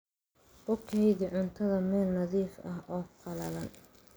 Ku kaydi cuntada meel nadiif ah oo qallalan.